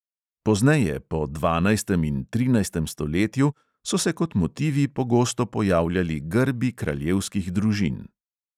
Pozneje, po dvanajstem in trinajstem stoletju, so se kot motivi pogosto pojavljali grbi kraljevskih družin.